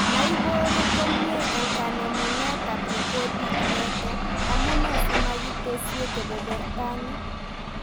Maiboru komie eng kanemunetab repotit neto, amune simakitesi keberberta ni